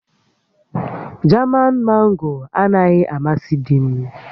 Jaman Mango anaghị amasị di m